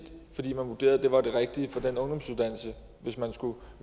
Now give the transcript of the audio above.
fordi man vurderede at det var det rigtige for den ungdomsuddannelse hvis man skulle